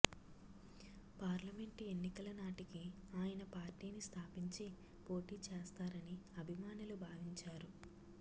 parliament ఎన్నికల నాటికి ఆయన పార్టీని స్థాపించి పోటీ చేస్తారని అభిమానులు భావించారు